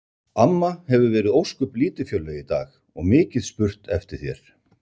Amma hefur verið ósköp lítilfjörleg í dag og mikið spurt eftir þér